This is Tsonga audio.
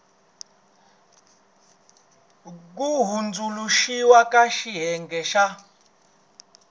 ku hundzuluxiwa ka xiyenge xa